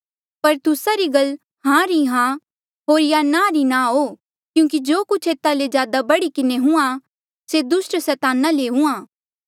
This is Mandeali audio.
पर तुस्सा री गल हां री हां हो या ना री ना हो क्यूंकि जो कुछ ऐता ले ज्यादा बढ़ी किन्हें हुंहां से दुस्टा सैताना ले हुंहां